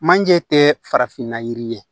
Manje tɛ farafinna yiri ye